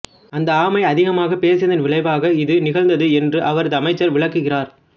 அந்த ஆமை அதிகமாகப் பேசியதன் விளைவாக இது நிகழ்ந்தது என்று அவரது அமைச்சர் விளக்குகிறார்